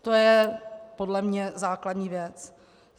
To je podle mne základní věc.